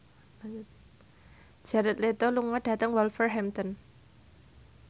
Jared Leto lunga dhateng Wolverhampton